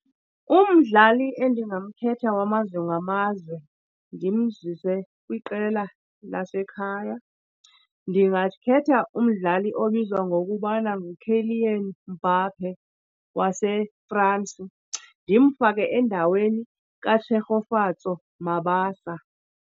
Umdlali endingamkhetha wamazwe ngamazwe ndimzise kwiqela lasekhaya, ndingakhetha umdlali obizwa ngokubana nguKylian Mbappé waseFransi ndimfake endaweni kaTshegofatso Mabasa.